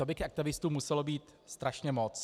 To by těch aktivistů muselo být strašně moc.